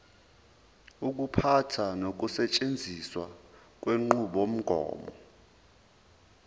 ukuphatha nokusetshenziswa kwenqubomgomo